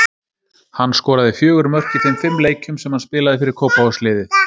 Hann skoraði fjögur mörk í þeim fimm leikjum sem hann spilaði fyrir Kópavogsliðið.